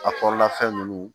A kɔrɔla fɛn nunnu